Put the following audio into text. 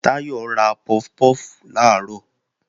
Táyọ̀ ra puff puff làárọ̀